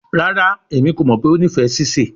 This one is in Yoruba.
Rara, Emi ko mọ pe o nifẹ sise